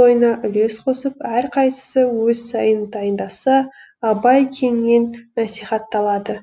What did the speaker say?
тойына үлес қосып әрқайсысы өз сыйын дайындаса абай кеңінен насихатталады